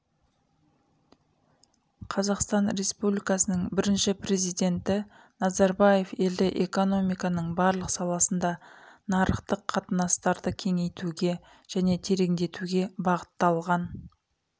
қазақстан республикасының бірінші президенті назарбаев елде экономиканың барлық саласында нарықтық қатынастарды кеңейтуге және тереңдетуге бағытталған